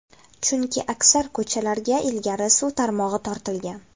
Chunki aksar ko‘chalarga ilgari suv tarmog‘i tortilgan.